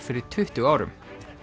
fyrir tuttugu árum